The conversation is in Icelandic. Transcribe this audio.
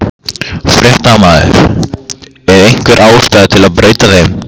Fréttamaður: Er einhver ástæða til að breyta þeim?